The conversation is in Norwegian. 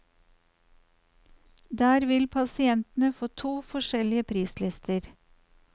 Der vil pasientene få to forskjellige prislister.